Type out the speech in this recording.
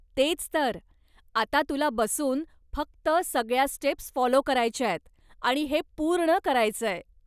तेच तर! आता तुला बसून फक्त सगळ्या स्टेप्स फॉलो करायच्यायत आणि हे पूर्ण करायचंय.